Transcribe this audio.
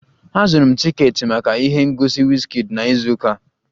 Azụrụ m tiketi maka ihe ngosi Wizkid na izu ụka a